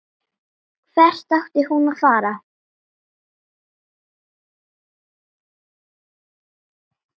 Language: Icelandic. Hvert átti hún að fara?